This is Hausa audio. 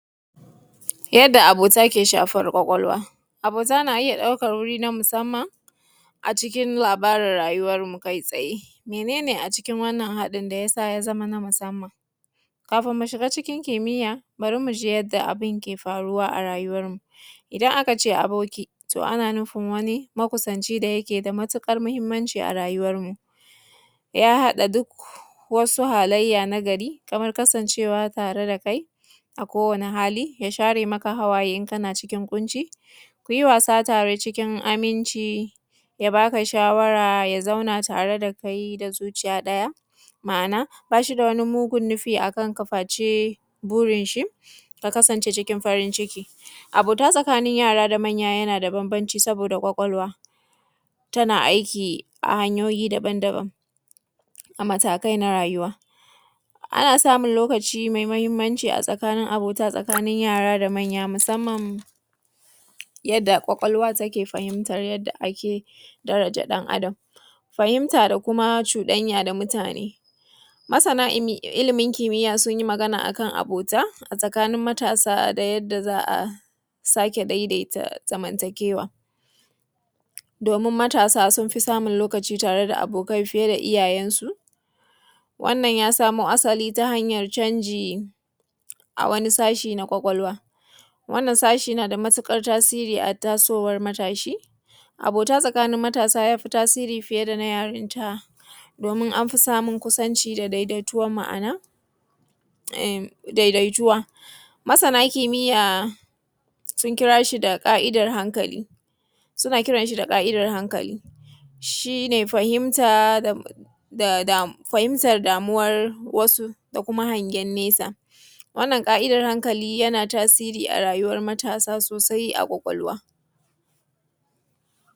Yadda abota ke shafar ƙwaƙwalwa, abota na iya ɗaukar wuri na musamman a cikin labarin rayuwar kai tsaye. Mene ne a cikin wannan abota ya zama na musamman Kafin mu shiga cikin kimiyya bari mu ji yadda yake faruwa a rayuwar mu. Idan aka ce aboki ana nufin makusanci da yake da matukar muhimmanci a rayuwarmu ya haɗa duk wasu halayya na gari da kai a kowane hali ya share maka hawaye in kana cikin ƙunci ku yi wasa tare cikin aminci ya ba ka shawara ya zauna tare da kai da zuciya ɗaya. Ma'ana ba shi da mugun nufi a kanka face, gurin shi ka kasance cikin farin ciki. Abota tsakanin yara da manya yana da bambanci saboda ƙwaƙwalwa tana aiki a hanyoyi daban-daban. A matakai na rayuwa. Ana samun lokaci mai muhimmanci a tsakanin abota yara da manya yadda ƙwaƙwalwa take fahimta lr yadda ake daraja dan ɗan Adam. Fahimta da kuma cuɗanya da mutane, masani ilimin kimiyya sun yi magana a kan abota a tsakanin matasa da yadda za a sake daidaita zamantakewa domin matasa sun fi samun lokaci tare da abokai fiya da iyayensu. Wannan ya samo asali ta hanyar canji a wani sashe na ƙwaƙwalwa. Wannan sashen na da matukar tasiri a tasowar matashi, abota tsakanin matasa ya fi tasiri fiye da na yarinta domin an fi samun kusanci da daidaituwan. ma'ana Masana kimiyya sun kira shi da ƙa'idar hankali suna kitanshi da ƙa'idar hankali shi ne fahimtar damuwar wasu da kuma hangen nesa. Wannan ƙa'idar hankali yana tasiri a rayuwar matasa sosai a ƙwaƙwalwa.